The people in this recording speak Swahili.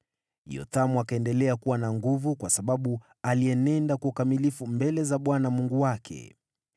Yothamu akaendelea kuwa na nguvu kwa sababu alienenda kwa ukamilifu mbele za Bwana Mungu wake.